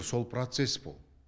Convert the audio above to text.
сол процесс бұл